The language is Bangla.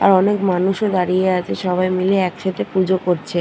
আর অনেক মানুষ ও দাঁড়িয়ে আছে। সবাই মিলে একসাথে পুজো করছে।